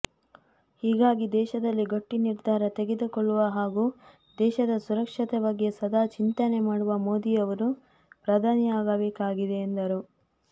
ಹೀಗಾಗಿ ದೇಶದಲ್ಲಿ ಗಟ್ಟಿ ನಿರ್ಧಾರ ತೆಗೆದುಕೊಳ್ಳುವ ಹಾಗೂ ದೇಶದ ಸುರಕ್ಷತೆ ಬಗ್ಗೆ ಸದಾ ಚಿಂತನೆ ಮಾಡುವ ಮೋದಿಯವರು ಪ್ರಧಾನಿಯಾಗಬೇಕಾಗಿದೆ ಎಂದರು